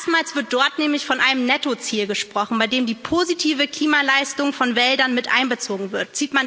Erstmals wird dort nämlich von einem Nettoziel gesprochen, bei dem die positive Klimaleistung von Wäldern mit einbezogen wird.